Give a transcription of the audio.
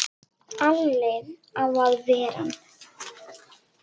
Alli á að ver ann!